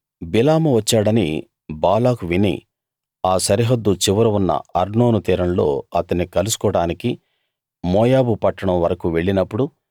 బిలాము వచ్చాడని బాలాకు విని ఆ సరిహద్దు చివర ఉన్న అర్నోను తీరంలో అతన్ని కలుసుకోడానికి మోయాబు పట్టణం వరకూ వెళ్ళినప్పుడు